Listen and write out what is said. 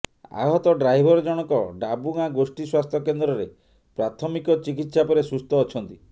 ଆହତ ଡ୍ରାଇଭର ଜଣକ ଡାବୁଗାଁ ଗୋଷ୍ଠି ସ୍ୱାସ୍ଥ୍ୟ କେନ୍ଦ୍ରରେ ପ୍ରାଥମିକ ଚିକିତ୍ସା ପରେ ସୁସ୍ଥ ଅଛନ୍ତି